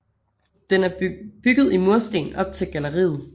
Den er bygget i mursten op til galleriet